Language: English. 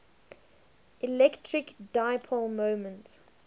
electric dipole moment